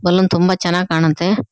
Balloon ತುಂಬಾ ಚೆನ್ನಾಗ್ ಕಾಣುತ್ತೆ.